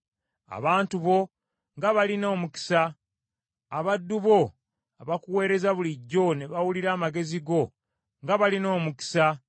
Abantu bo nga balina omukisa! Abaddu bo abakuweereza bulijjo ne bawulira amagezi go nga balina omukisa!